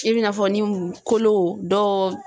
I bin'a fɔ ni kolo dɔw.